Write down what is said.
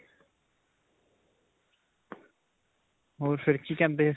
ਹੋਰ ਫਿਰ ਕੀ ਕਹਿੰਦੇ?